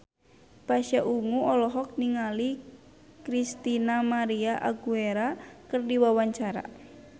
Pasha Ungu olohok ningali Christina María Aguilera keur diwawancara